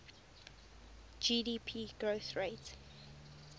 gdp growth rate